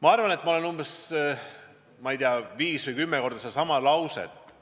Ma arvan, et ma olen umbes viis või kümme korda öelnud sedasama lauset